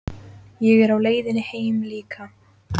Ég er á leiðinni heim líka.